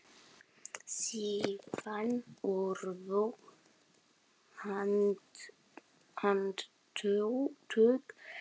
Síðan urðu handtök hennar hröð.